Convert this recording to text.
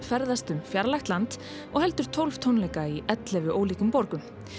ferðast um fjarlægt land og heldur tólf tónleika í ellefu ólíkum borgum